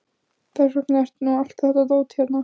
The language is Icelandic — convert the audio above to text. Þess vegna er nú allt þetta dót hérna.